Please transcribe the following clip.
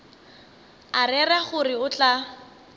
a rera gore o tla